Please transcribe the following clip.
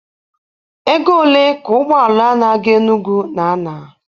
Ego ole ka ụgbọ ala na-aga Enugu na-ana?